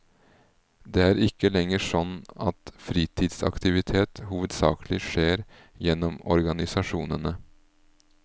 Det er ikke lenger sånn at fritidsaktivitet hovedsakelig skjer gjennom organisasjonene.